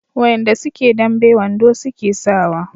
wayanda suke dambe wando suke sawa